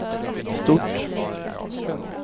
stort